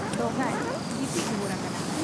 ᱫᱚᱦᱲᱟᱭ ᱜᱤᱛᱤᱡ ᱨᱩᱣᱟᱹᱲ ᱟᱠᱟᱱᱟ ᱾